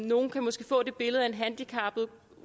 nogle kan måske få det billede at en handicappet